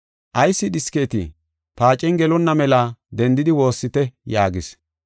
“Ayis dhisketii? Paacen gelonna mela dendidi woossite” yaagis.